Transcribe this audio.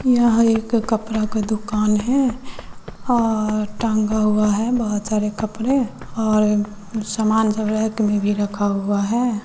यह एक कपड़ा का दुकान है और टांगा हुआ है बहोत सारे कपड़े और समान सब रैक में भी रखा हुआ है।